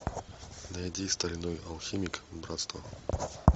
найди стальной алхимик братство